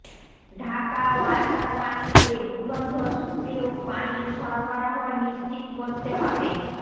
ঢাকা ওয়াসার পানিতে দুর্গন্ধ সুপেয় পানির সরবরাহ নিশ্চিত করতে হবে